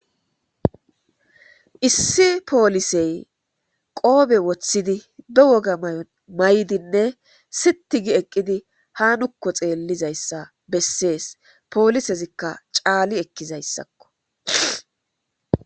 Issi polisey qope wothidi be woga mayo mayidinne siti gi eqidi ha nuko xeelizaysa besses poliseska Cali ekizaysako